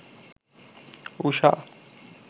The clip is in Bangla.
ঊষা